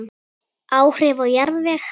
Áhrif á jarðveg